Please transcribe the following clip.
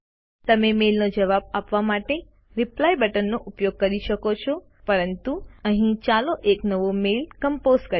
તમે મેલનો જવાબ આપવા માટે રિપ્લાય બટનનો ઉપયોગ કરી શકો છો પરંતુ અહીં ચાલો એક નવો મેઇલ કમ્પોઝ કરીએ